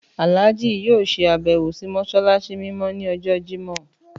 Àlájì yóò ṣe àbẹ́wò sì mọ́ṣáláṣí mímọ́ ni ọjọ́ Jimọh